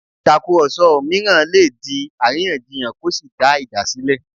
Ìtàkùrọ̀sọ mìíràn lè di àríyànjiyàn kó sì dá ìjà sílẹ̀